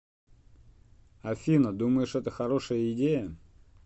афина думаешь это хорошая идея